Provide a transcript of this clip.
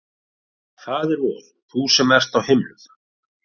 Faðir vor, þú sem ert á himnum,